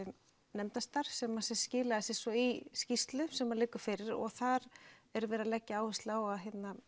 nefndarstarf sem sem skilaði sér svo í skýrslu sem liggur fyrir og þar er verið að leggja áherslu á að